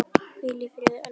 Hvíl í friði, elsku Elsa.